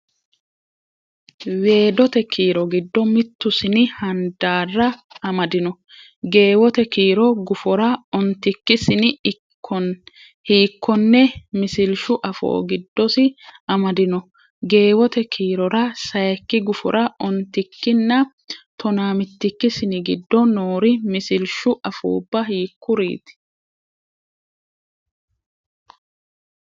Weedote kiiro giddo mittu sini handaarra amadino? Geewote kiiro gufora ontikki sini hiikkonne misilshu afoo giddosi amadino? Geewote kiirora sayikki gufora ontikkinna tonaa mitikki sini giddo noori misilshu afuubba hiikkuriiti?